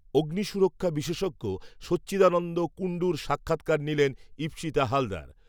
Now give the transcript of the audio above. অগ্নিসুরক্ষা বিশেষজ্ঞ সচ্চিদানন্দ কুণ্ডুর সাক্ষাত্কার নিলেন ঈপ্সিতা হালদার